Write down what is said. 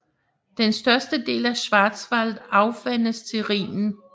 Den største del af Schwarzwald afvandes til Rhinen